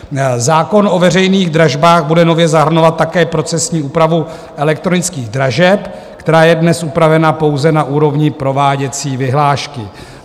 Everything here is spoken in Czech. Zákon o veřejných dražbách bude nově zahrnovat také procesní úpravu elektronických dražeb, která je dnes upravena pouze na úrovni prováděcí vyhlášky.